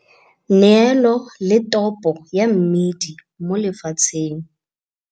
Neelo le topo ya mmidi mo lefatsheng.